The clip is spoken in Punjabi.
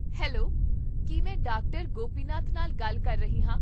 ਹੈਲੋ, ਕੀ ਮੈਂ ਡਾਕਟਰ ਗੋਪੀਨਾਥ ਨਾਲ ਗੱਲ ਕਰ ਰਹੀ ਹਾਂ?